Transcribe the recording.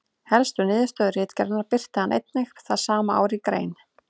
Helstu niðurstöðu ritgerðarinnar birti hann einnig það sama ár í grein.